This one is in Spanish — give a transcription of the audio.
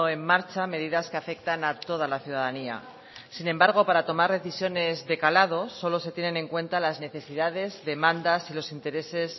en marcha medidas que afectan a toda la ciudadanía sin embargo para tomar decisiones de calado solo se tienen en cuenta las necesidades demandas y los intereses